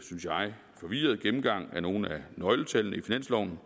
synes jeg forvirret gennemgang af nogle af nøgletallene i finansloven